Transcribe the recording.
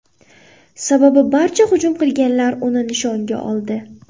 Sababi barcha hujum qilganlar uni nishonga oldi.